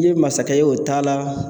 I ye masakɛ ye o t'a la